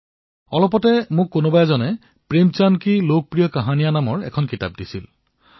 মোক অলপতে কোনোবাই প্ৰেমচন্দৰ লোকপ্ৰিয় কাহিনী নামৰ কিতাপ এখন দিলে